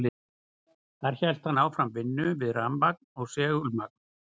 Þar hélt hann áfram vinnu við rafmagn og segulmagn.